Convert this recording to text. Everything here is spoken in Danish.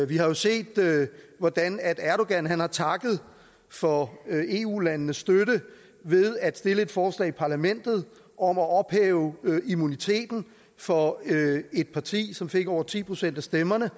vi har jo set hvordan erdogan har takket for eu landenes støtte ved at stille et forslag i parlamentet om at ophæve immuniteten for et parti som fik over ti procent af stemmerne